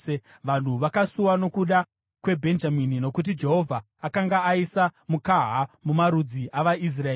Vanhu vakasuwa nokuda kweBhenjamini, nokuti Jehovha akanga aisa mukaha mumarudzi avaIsraeri.